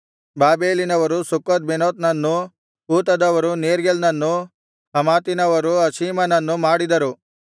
ಬಾಬೆಲಿನವರು ಸುಕ್ಕೋತ್ಬೆನೋತ್ ನನ್ನೂ ಕೂತದವರು ನೇರ್ಗೆಲ್ ನನ್ನೂ ಹಮಾತಿನವರು ಅಷೀಮನನ್ನು ಮಾಡಿದರು